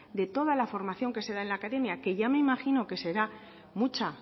de toda la formación que se da en la academia que ya me imagino que será mucha